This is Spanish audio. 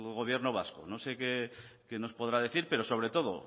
gobierno vasco no sé qué nos podrá decir pero sobre todo